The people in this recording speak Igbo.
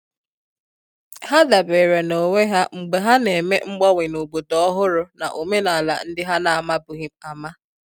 Ha dabere na onwe ha mgbe ha n'eme mgbanwe na obodo ọhụrụ na omenala ndị ha na amabughị ama.